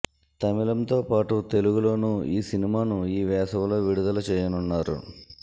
తమిళంతో పాటు తెలుగులోను ఈ సినిమాను ఈ వేసవిలో విడుదల చేయనున్నారు